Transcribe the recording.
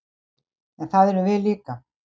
En það erum við líka